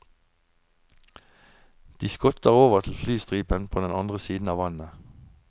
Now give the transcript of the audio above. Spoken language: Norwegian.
De skotter over til flystripen på den andre siden av vannet.